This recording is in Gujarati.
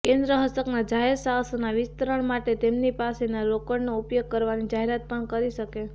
કેન્દ્ર હસ્તકના જાહેર સાહસોના વિસ્તરણ મા્ટે તેમની પાસેની રોકડનો ઉપયોગ કરવાની જાહેરાત પણ કરી શકે